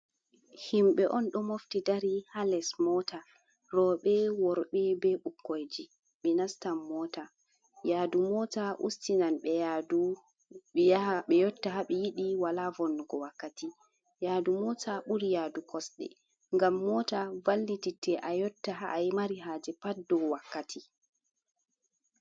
Himɓe on ɗo mofti dari ha les mota, roɓe, worbe, be ɓukkoi ji ɓe nastan mota, yadu mota ustinan ɓe yotta habe yiɗi wala vonnugo wakkati, yadu mota ɓuri yadu kosɗe ngam mota vallititte a yotta ha’ai mari haje pat dow wakkati.